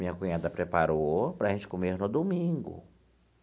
Minha cunhada preparou para a gente comer no domingo.